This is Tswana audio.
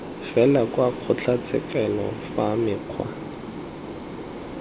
fela kwa kgotlatshekelo fa mekgwa